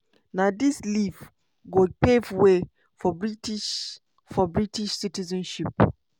na dis leave go pave way for british for british citizenship.